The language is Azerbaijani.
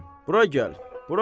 Mən ölüm, bura gəl!